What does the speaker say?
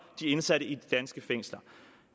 de indsatte i de danske fængsler